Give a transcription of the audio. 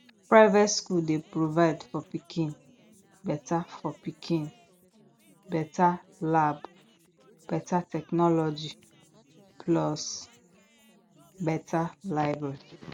private skool dey provide for pikin beta for pikin beta lab beta technology plus beta library